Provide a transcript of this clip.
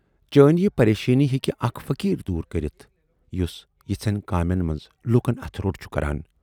چٲنۍ یہِ پریشٲنی ہیکہِ اکھ فقیٖر دوٗر کٔرِتھ، یُس یِژھٮ۪ن کامٮ۪ن مَنز لوٗکَن اَتھٕ روٹ چھُ کَران۔